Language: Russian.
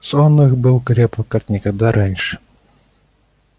сон их был крепок как никогда раньше